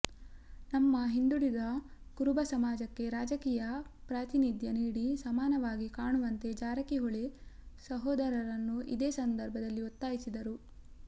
ನಮ್ಮ ಹಿಂದುಳಿದ ಕುರುಬ ಸಮಾಜಕ್ಕೆ ರಾಜಕೀಯ ಪ್ರಾತಿನಿಧ್ಯ ನೀಡಿ ಸಮಾನವಾಗಿ ಕಾಣುವಂತೆ ಜಾರಕಿಹೊಳಿ ಸಹೋದರರನ್ನು ಇದೇ ಸಂದರ್ಭದಲ್ಲಿ ಒತ್ತಾಯಿಸಿದರು